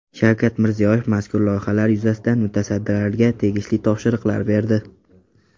Shavkat Mirziyoyev mazkur loyihalar yuzasidan mutasaddilarga tegishli topshiriqlar berdi.